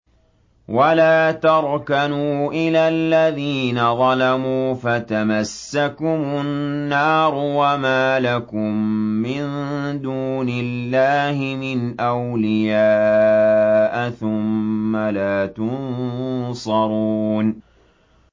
وَلَا تَرْكَنُوا إِلَى الَّذِينَ ظَلَمُوا فَتَمَسَّكُمُ النَّارُ وَمَا لَكُم مِّن دُونِ اللَّهِ مِنْ أَوْلِيَاءَ ثُمَّ لَا تُنصَرُونَ